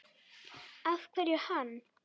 Af hverju hann?